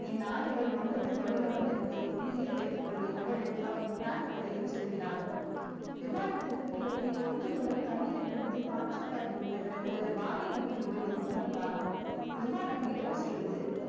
என் ஆடைகள் ரொம்பவும் தொல தொலன்னு இருக்கு நீயே வைத்துக் கொள்கின்றவள் அவன் pant பையில் சொருகினாள் விமானத்துக்கு கிளப்பி கொஞ்ச நேரம் தண்ணீரை கிழித்து பாய்ச்சல் காட்டி விட்ட பிறகு வானை நோக்கி உயர்ந்ததும் உணர்ந்தான் விமானம் செய்தது